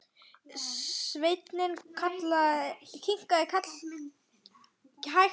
Sveinn kinkaði hægt kolli.